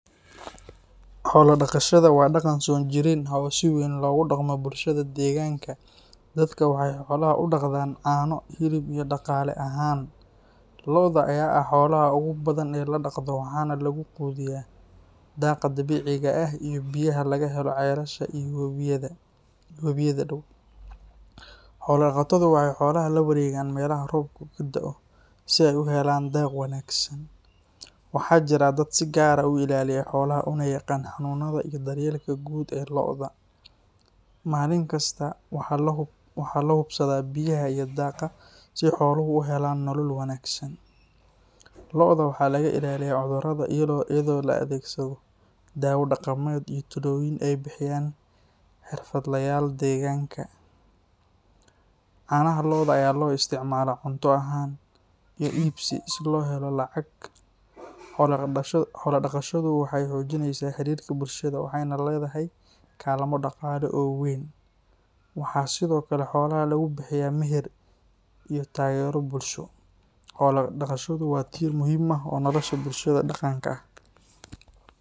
Xoola dhaqashada waa dhaqan soo jireen ah oo si weyn looga dhaqmo bulshadena, waxayna door weyn ka ciyaartaa nolosha dhaqaalaha iyo hidaha bulshada Soomaaliyeed. Qoysas badan ayaa weli ku tiirsan xoolaha sida geela, lo’da iyo adhiga si ay u helaan cunto, dakhli iyo waxyaabo kale oo noloshooda muhiim u ah. Carruurta ayaa lagu barbaariyaa dhaqankaas iyagoo ka qeyb qaata daaqa iyo daryeelka xoolaha, taas oo ka dhigeysa xoola dhaqashada mid korisa mas’uuliyadda iyo is-maamulida. Deegaannada miyiga ah waxaa weli ka jira hab-nololeed ku saleysan xoola dhaqan, waxaana xitaa bulshada magaalada mararka qaar dib ugu laabtaan si ay ula jaanqaadaan duruufaha nololeed. Inkastoo technology-ga casriga ah uu isbeddel keenay, haddana xoola dhaqashada waxay weli leedahay qiimo dhaqan iyo dhaqaale oo aan la iska indho tiri karin. Waxaa muhiim ah in dhalinyarada la baro qiimaha dhaqankan si uu u sii jiro jiilba jilka.